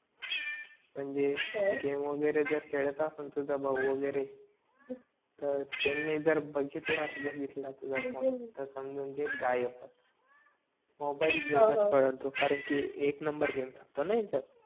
म्हणजे गेम वगैरे जर खेळात असं तुझा भाऊ वगैरे तर त्यांनि जर बगितला रे बघिलता तुझा फोन तर समझून घे गायबच मोबाईल घेऊनच पाळलं तो कारण कि एक नंबर चालतो ना ह्याच्यात